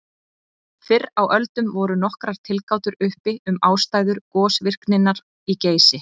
Fyrr á öldum voru nokkrar tilgátur uppi um ástæður gosvirkninnar í Geysi.